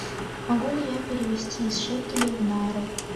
могу ли я перевести из шекелей в найры